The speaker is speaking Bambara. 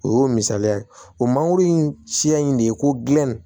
O y'o misaliya ye o mangoro in siya in de ye ko gilan